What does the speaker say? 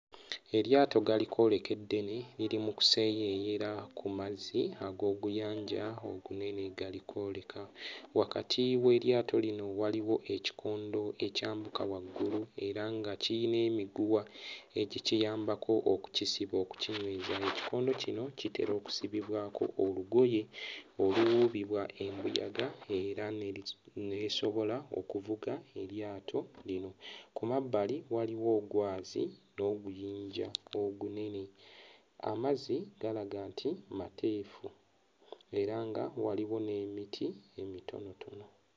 Eryato galikwoleka eddene liri mu kuseeyeeyera ku mazzi ag'oguyanja ogunene galikwoleka. Wakati w'eryato lino waliwo ekikondo ekyambuka waggulu era nga kiyina emiguwa egikiyambako okukisiba okukinyweza. Ekikondo kino kitera okusibibwako olugoye oluwuubibwa embuyaga era erisi e esobola okuvuga eryato lino. Ku mabbali waliwo ogwazi n'oguyinja ogunene. Amazzi galaga nti mateefu era nga waliwo n'emiti emitonotono.